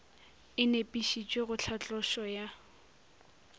e nepišitšwe go tlhatlošo ya